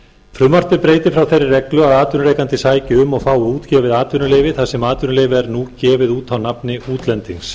frumvarpið breytir frá þeirri reglu að atvinnurekandi sæki um og fái útgefið atvinnuleyfi þar sem atvinnuleyfi er nú gefið út á nafn útlendings